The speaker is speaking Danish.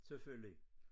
Selvfølgelig